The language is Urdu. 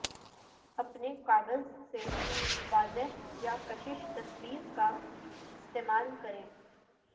اپنے کاغذ سے واضح یا کشش تصویر کا استعمال کریں